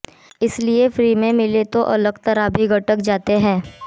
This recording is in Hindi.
इसलिए फ्री में मिले तो अलकतरा भी गटक जाते हैं